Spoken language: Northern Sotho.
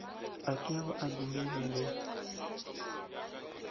a kego a dumele ge